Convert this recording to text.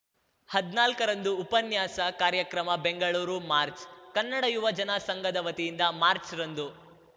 ಹದ್ನಾಲ್ಕರಂದು ಉಪನ್ಯಾಸ ಕಾರ್ಯಕ್ರಮ ಬೆಂಗಳೂರು ಮಾರ್ಚ್ ಕನ್ನಡ ಯುವ ಜನ ಸಂಘದ ವತಿಯಿಂದ ಮಾರ್ಚ್ ರಂದು